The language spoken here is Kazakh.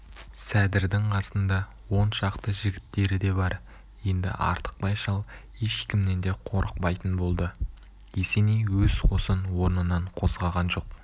сәдірдің қасында он шақты жігіттері де бар енді артықбай шал ешкімнен де қорықпайтын болды есеней өз қосын орнынан қозғаған жоқ